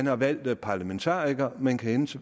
har valgt de parlamentarikere man kan